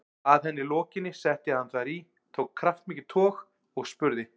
Að henni lokinni setti hann þær í, tók kraftmikið tog og spurði